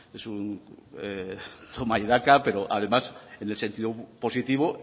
es un toma y daca pero además en el sentido positivo